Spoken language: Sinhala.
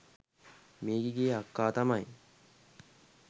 මේකිගේ අක්කා තමයි